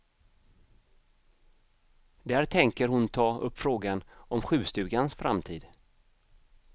Där tänker hon ta upp frågan om sjukstugans framtid.